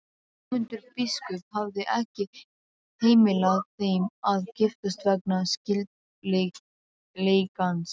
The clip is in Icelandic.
Ögmundur biskup hafði ekki heimilað þeim að giftast vegna skyldleikans.